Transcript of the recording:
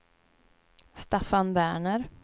Staffan Werner